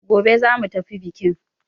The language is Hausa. Gobe za mu tafi biƙin!